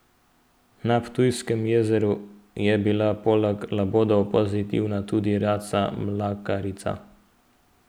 Na Ptujskem jezeru je bila poleg labodov pozitivna tudi raca mlakarica.